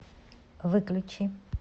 выключи